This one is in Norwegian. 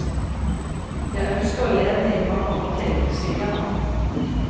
Jeg ønsker å leve i mange år til, sier han.